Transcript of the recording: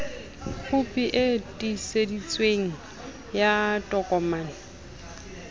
khopi e tiiseditsweng ya tokomane